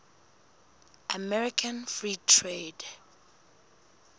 american free trade